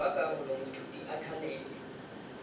jwa karolo moithuti a thalele